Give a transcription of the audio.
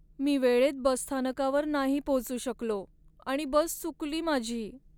मी वेळेत बसस्थानकावर नाही पोहोचू शकलो आणि बस चुकली माझी.